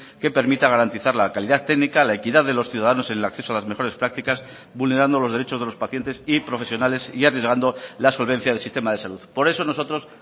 que permita garantizar la calidad técnica la equidad de los ciudadanos en el acceso a las mejores prácticas vulnerando los derechos de los pacientes y profesionales y arriesgando la solvencia del sistema de salud por eso nosotros